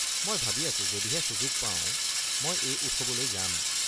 মই ভাবি আছোঁ যদিহে সুযোগ পাও মই এই উৎসৱলৈ যাম।